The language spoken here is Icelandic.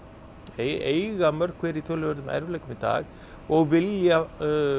eiga í mörg hver í töluverðum erfiðleikum í dag og vilja